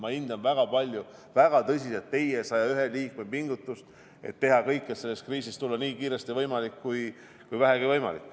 Ma hindan väga palju, väga tõsiselt teie, 101 liikme, pingutust, et teha kõik, et sellest kriisist tulla välja nii kiiresti kui vähegi võimalik.